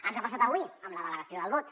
ens ha passat avui amb la delegació del vot